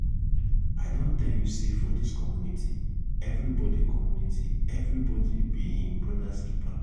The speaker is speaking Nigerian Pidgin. i don tell you sey for dis community everybodi community everybodi be im broda's keeper.